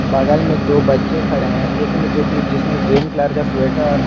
बगल में दो बच्चे खड़े हैं एक ने जोकि जिसने ग्रीन कलर का स्वेटर --